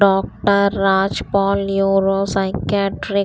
doctor Rajpal neuro psychiatry --